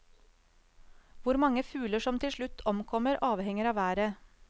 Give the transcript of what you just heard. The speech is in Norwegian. Hvor mange fugler som til slutt omkommer, avhenger av været.